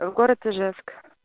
город ижевск